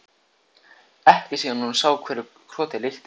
Ekki síðan hún sá hverju krotið líktist.